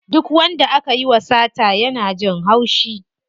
Duk wanda akayi wa sata yana jin haushi.